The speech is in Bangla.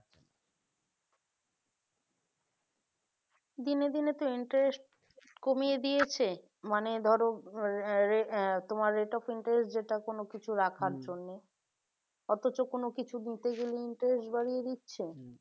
দিনে দিনে তো interest কমিয়ে দিয়েছে মানে ধরো আহ তোমার এটা কিন্তু যেটা কোনো কিছু জন্য অথচ কোন কিছু গুনতে গেলে interest বাড়িয়ে দিচ্ছে